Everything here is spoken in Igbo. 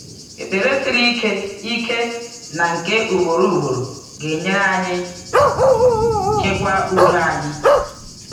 Ekpere siri ike ike na nke ugboro ugboro ga-enyere anyị chekwa udo anyị.